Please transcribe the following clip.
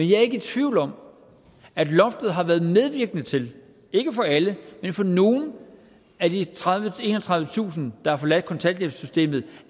jeg er ikke i tvivl om at loftet har været medvirkende til ikke for alle men for nogle af de enogtredivetusind der har forladt kontanthjælpssystemet